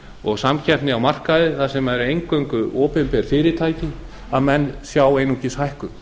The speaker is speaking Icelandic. og samkeppni á markaði þar sem eru eingöngu opinber fyrirtæki sjái menn einungis hækkun